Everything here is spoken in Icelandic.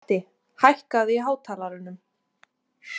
Matti, hækkaðu í hátalaranum.